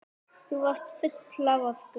Þú varst full af orku.